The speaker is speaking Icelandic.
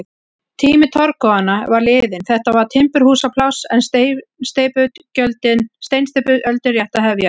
Tími torfkofanna var liðinn, þetta var timburhúsapláss en steinsteypuöldin rétt að hefjast.